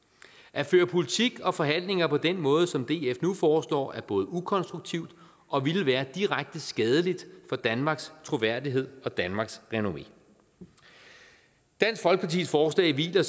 at føre politik og forhandlinger på den måde som df nu foreslår er både ukonstruktivt og ville være direkte skadeligt for danmarks troværdighed og danmarks renommé dansk folkepartis forslag hviler